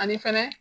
Ani fɛnɛ